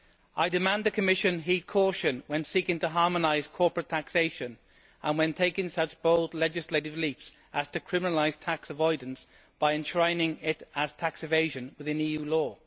I demand that the Commission heed caution when seeking to harmonise corporate taxation and when taking such bold legislative leaps as to criminalise tax avoidance by enshrining it as tax evasion within EU law.